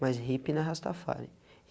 Mas hippie não é Rastafari.